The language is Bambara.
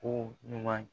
Ko ɲuman